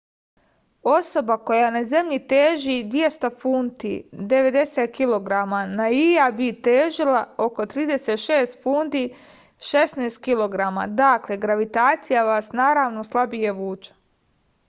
особа која на земљи тежи 200 фунти 90 кг на ији би тежила око 36 фунти 16 кг. дакле гравитација вас наравно слабије вуче